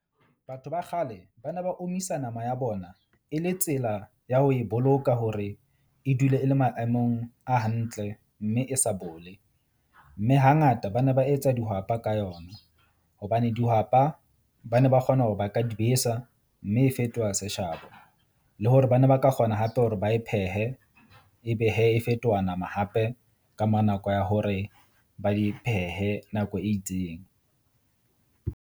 Batho ba kgale ba ne ba omisa nama ya bona e le tsela ya ho e boloka hore e dule e le maemong a hantle. Mme e sa bole, mme hangata ba ne ba etsa dihwapa ka yona. Hobane dihwapa ba ne ba kgona hore ba ka di besa, mme e fetoha seshabo le hore ba ne ba ka kgona hape hore ba e phehe. Ebe hee e fetoha nama hape ka mora nako ya hore ba di phehe nako e itseng.